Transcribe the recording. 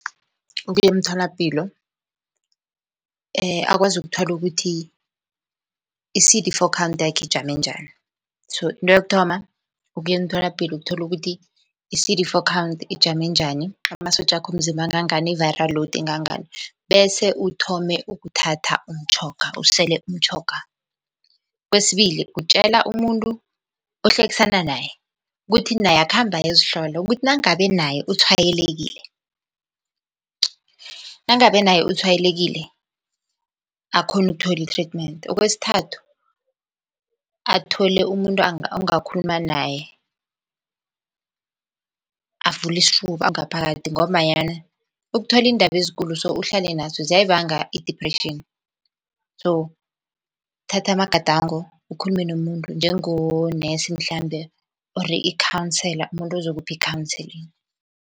Ukuya emtholapilo akwazi ukuthola ukuthi i-C_D four count yakhe ijame njani. So into yokuthoma, ukuya emtholapilo ukuthola ukuthi i-C_D four count ijame njani. Amasotjakhe womzimba angangani, i-viral load ingangani, bese uthome ukuthatha umtjhoga, usele umtjhoga. Kwesibili, kutjela umuntu ohlekisana naye ukuthi naye akhambe ayozihlola ukuthi nangabe naye utshwayelekile, nangabe naye utshwayelekile akhone ukuthola i-treatment. Okwesithathu, athole umuntu angakhuluma naye, avule isifuba ngaphakathi ngombanyana ukuthola iindaba ezikulu so uhlale naso ziyayibanga i-depression, so thatha amagadango ukhulume nomuntu njengonesi mhlambe or ikhansela umuntu uzokupha i-counseling.